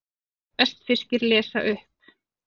Vestfirskir lesa upp